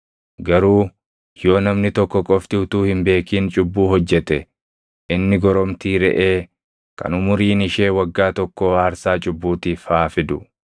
“ ‘Garuu yoo namni tokko qofti utuu hin beekin cubbuu hojjete inni goromtii reʼee kan umuriin ishee waggaa tokkoo aarsaa cubbuutiif haa fidu.